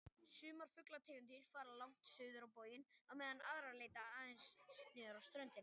Sumar fuglategundir fara langt suður á boginn á meðan aðrar leita aðeins niður á ströndina.